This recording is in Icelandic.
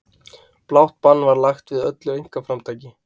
Blátt bann var lagt við öllu einkaframtaki.